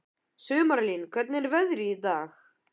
Sumarlín, hvernig er veðrið í dag?